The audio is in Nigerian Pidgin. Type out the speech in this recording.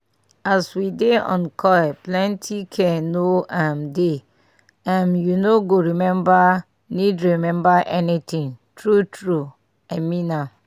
as we dey on coil plenty care no um dey um u no go remember need remember anything. true true i mean am